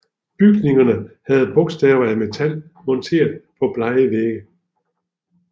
Bygningerne havde bogstaver af metal monteret på blege vægge